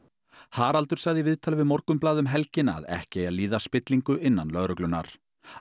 Haraldur sagði í viðtali við Morgunblaðið um helgina að ekki eigi að líða spillingu innan lögreglunnar